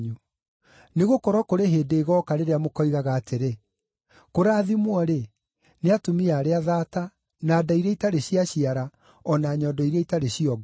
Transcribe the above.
Nĩgũkorwo kũrĩ hĩndĩ ĩgooka rĩrĩa mũkoigaga atĩrĩ, ‘Kũrathimwo-rĩ, nĩ atumia arĩa thaata, na nda iria itarĩ ciaciara, o na nyondo iria itarĩ ciongwo!’